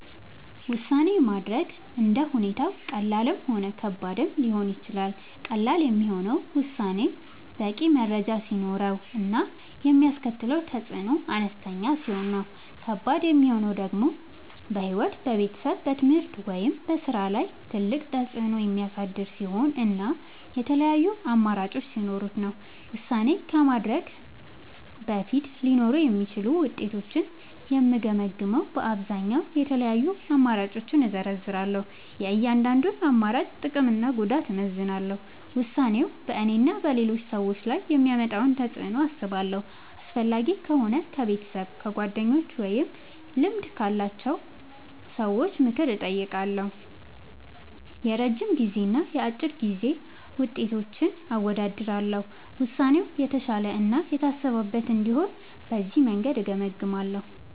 ውሳኔ ማድረግ እንደ ሁኔታው ቀላልም ሆነ ከባድም ሊሆን ይችላል። ቀላል የሚሆነው ውሳኔው በቂ መረጃ ሲኖረው እና የሚያስከትለው ተፅዕኖ አነስተኛ ሲሆን ነው። ከባድ የሚሆነው ደግሞ በሕይወት፣ በቤተሰብ፣ በትምህርት ወይም በሥራ ላይ ትልቅ ተፅዕኖ የሚያሳድር ሲሆን እና የተለያዩ አማራጮች ሲኖሩት ነው። ውሳኔ ከማድረግ በፊት ሊኖሩ የሚችሉትን ውጤቶች የምገመግመዉ በአብዛኛዉ፦ የተለያዩ አማራጮችን እዘረዝራለሁ። የእያንዳንዱን አማራጭ ጥቅምና ጉዳት አመዛዝናለሁ። ውሳኔው በእኔና በሌሎች ሰዎች ላይ የሚያመጣውን ተፅዕኖ አስባለሁ። አስፈላጊ ከሆነ ከቤተሰብ፣ ከጓደኞች ወይም ከልምድ ያላቸው ሰዎች ምክር እጠይቃለሁ። የረጅም ጊዜና የአጭር ጊዜ ውጤቶችን አወዳድራለሁ። ውሳኔው የተሻለ እና የታሰበበት እንዲሆን በዚህ መንገድ እገመግማለሁ።